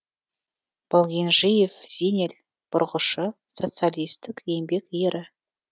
балгенжиев зинел бұрғышы социалистік еңбек ері